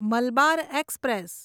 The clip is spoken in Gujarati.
મલબાર એક્સપ્રેસ